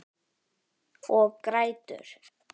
Og grætur.